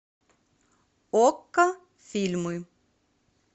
окко фильмы